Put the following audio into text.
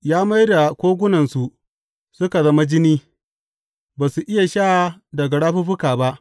Ya mai da kogunansu suka zama jini; ba su iya sha daga rafuffuka ba.